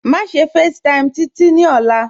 Máṣe facetime Títí ní òla.